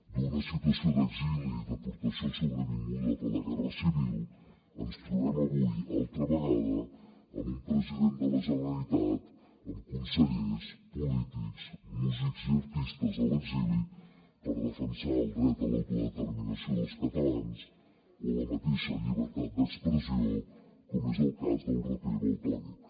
d’una situació d’exili i deportació sobrevinguda per la guerra civil ens trobem avui una altra vegada amb un president de la generalitat amb consellers polítics músics i artistes a l’exili per defensar el dret a l’autodeterminació dels catalans o la mateixa llibertat d’expressió com és el cas del raper valtònyc